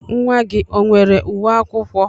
Nwa gị o nwere uwe akwụkwọ?